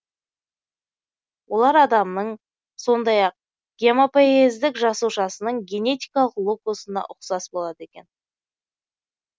олар адамның сондай ақ гемопоэздік жасушасының генетикалық локусына ұқсас болады екен